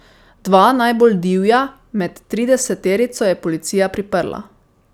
Dva najbolj divja med trideseterico je policija priprla.